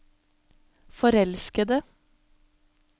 forelskede